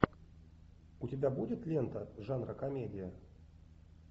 у тебя будет лента жанра комедия